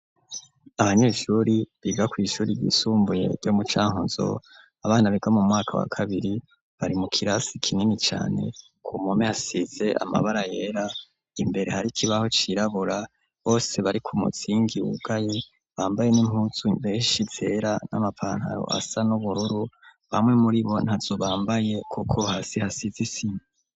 Abanyeshuri biga kW' ishuri ryisumbuye ryo mucankuzo ,abana biga mu mwaka wa kabiri, bari mu kirasi kinini cane ,ku mpome hasize amabara yera, imbere hari kibaho cirabura, bose bari ku muzingi wugaye, bambaye n'impuzu beshi zera, n'amapantaro asa n'ubururu, bamwe muri bo ntazo bambaye kuko hasi hasize isima.